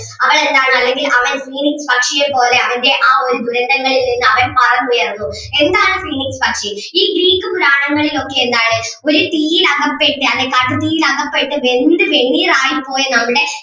അവളെന്താണ് അല്ലെങ്കിൽ അവൻ phoenix പക്ഷിയെ പോലെ അവൻ്റെ ആ ഒരു ദുരന്തങ്ങളിൽ നിന്ന് അവൻ പറന്നുയർന്നു എന്താണ് phoenix പക്ഷി ഈ ഗ്രീക്ക് പുരാണങ്ങളിൽ ഒക്കെ എന്താണ് ഒരു തീയിൽ അകപ്പെട്ട് അല്ലെങ്കിൽ കാട്ടുതീയിൽ അകപ്പെട്ട് വെന്ത് വെണ്ണീറായി പോയ നമ്മുടെ